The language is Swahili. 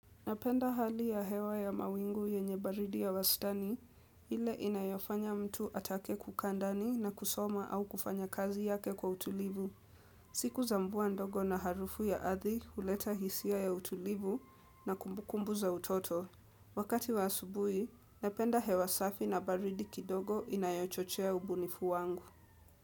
Napenda hali ya hewa ya mawingu yenye baridi ya wastani, ile inayofanya mtu atake kukaa ndani na kusoma au kufanya kazi yake kwa utulivu. Siku za mvua ndogo na harufu ya ardhi huleta hisia ya utulivu na kumbukumbu za utoto. Wakati wa asubuhi, napenda hewa safi na baridi kidogo inayochochea ubunifu wangu.